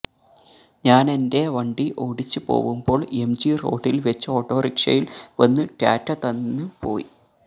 ഞാനെന്റെ വണ്ടി ഒടിച്ച് പോവുമ്പോള് എംജി റോഡില് വെച്ച് ഓട്ടോറിക്ഷയില് വന്ന് ടാറ്റ തന്ന പോയി